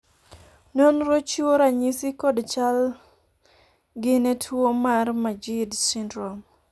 nonro chiwo ranyisi kod chal gi ne tuo mar majeed syndrome?